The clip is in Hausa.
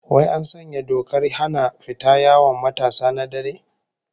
Wai an sanya dokar hana fita yawon matasa na dare?